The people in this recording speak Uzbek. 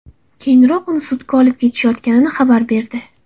Keyinroq uni sudga olib ketishayotganini xabar berdi.